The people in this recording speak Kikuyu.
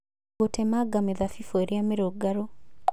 Gũtemanga mĩthabibũ ĩrĩa mĩrũngarũ